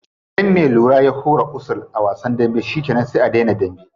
Idan me lura ya hura wusul a wasan dambe shikenan sai a dena dambe.